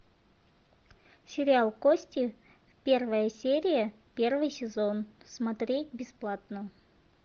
сериал кости первая серия первый сезон смотреть бесплатно